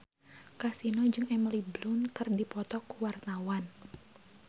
Kasino jeung Emily Blunt keur dipoto ku wartawan